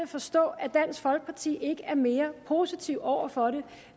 forstå at dansk folkeparti ikke er mere positive over for det